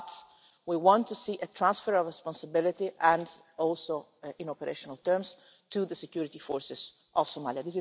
But we want to see a transfer of responsibility, including in operational terms, to the security forces of Somalia.